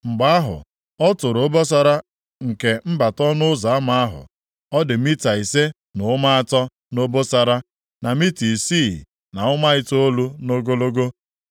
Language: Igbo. Mgbe ahụ, ọ tụrụ obosara nke mbata ọnụ ụzọ ama ahụ, ọ dị mita ise na ụma atọ nʼobosara, na mita isii na ụma itoolu nʼogologo.